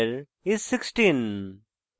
area of the square is 16